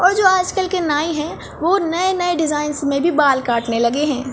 और आज-कल के नाई है वो नए नए डिज़ाइनस में बाल कटने लगे है।